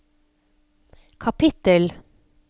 kapittel